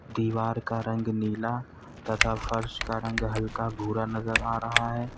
दीवार का रंग नीला तथा फर्श का रंग हल्का भूरा नजर आ रहा है।